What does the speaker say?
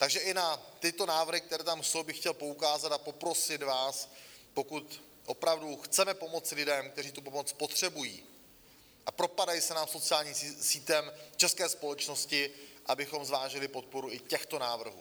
Takže i na tyto návrhy, které tam jsou, bych chtěl poukázat a poprosit vás, pokud opravdu chceme pomoci lidem, kteří tu pomoc potřebují a propadají se nám sociálním sítem české společnosti, abychom zvážili podporu i těchto návrhů.